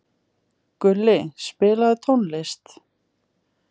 Gulli, spilaðu tónlist.